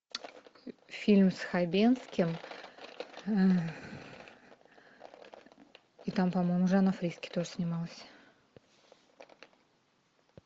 фильм с хабенским и там по моему жанна фриске тоже снималась